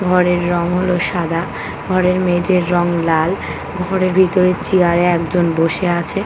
ঘরের রং হলো সাদা ঘরের মেঝের রং লাল ঘরের ভিতরে চেয়ার এ একজন বসে আছে ।